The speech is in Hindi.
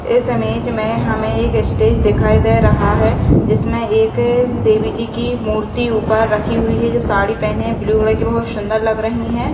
इस इमेज में हमें एक स्टेज दिखाई दे रहा है। जिसमे एक देवीजी की मूर्ति ऊपर रखी हुई है जो साड़ी पहने ब्लू कॉलों की बहुत सुंदर लग रही हैं।